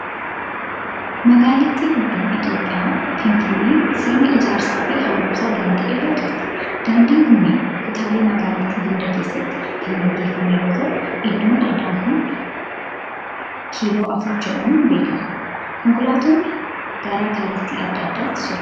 Magaalittii guddoon Itoophiyaa, Finfinneen sirna ijaarsaa fi haaromsa daandii irra turte. Daandiin kunneen kutaalee magaalittii hunda keessatti kan gaggeeffame yoo ta'u, iddoon addaa kun kiiloo afur jedhamuun beekama. Konkolaatonni gara kallattii adda addaatti socho'u.